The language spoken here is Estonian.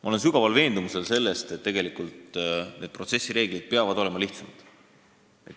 Ma olen sügavalt veendunud, et protsessireeglid peavad olema lihtsamad.